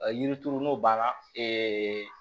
Yiri turu n'o banna